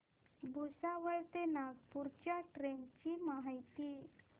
भुसावळ ते नागपूर च्या ट्रेन ची माहिती